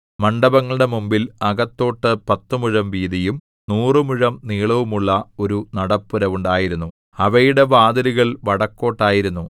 മണ്ഡപങ്ങളുടെ മുമ്പിൽ അകത്തോട്ടു പത്തുമുഴം വീതിയും നൂറുമുഴം നീളവുമുള്ള ഒരു നടപ്പുര ഉണ്ടായിരുന്നു അവയുടെ വാതിലുകൾ വടക്കോട്ടായിരുന്നു